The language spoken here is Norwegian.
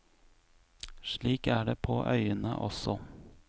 Slik er det på øyene også.